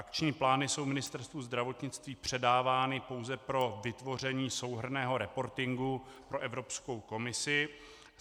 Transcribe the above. Akční plány jsou Ministerstvu zdravotnictví předávány pouze pro vytvoření souhrnného reportingu pro Evropskou komisi.